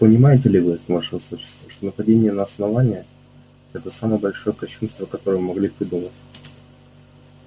понимаете ли вы ваше высочество что нападение на основание это самое большое кощунство которое могли придумать